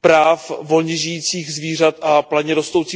práv volně žijících zvířat a planě rostoucích druhů rostlin.